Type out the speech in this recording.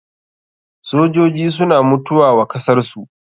Sojoji suna mutuwa wa kasar su.